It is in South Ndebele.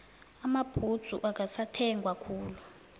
amabhudzu akasathengwa khulu